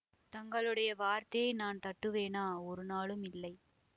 தங்களுடைய வார்த்தையை நான் தட்டுவேனா ஒருநாளும் இல்லை